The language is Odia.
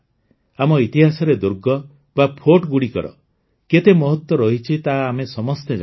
ଆମ ଇତିହାସରେ ଦୁର୍ଗ ବା Fortଗୁଡ଼ିକର କେତେ ମହତ୍ତ୍ୱ ରହିଛି ତାହା ଆମେ ସମସ୍ତେ ଜାଣନ୍ତି